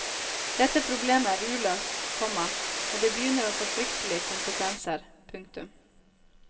Dette problemet er uløst, komma og det begynner å få fryktelige konsekvenser. punktum